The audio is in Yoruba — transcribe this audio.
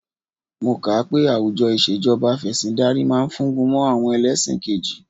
Mo kà á pé àwùjọ ìṣèjọba Afẹ̀sìndarí ma fúngun mọ́ àwọn ẹlẹ́ṣin kejì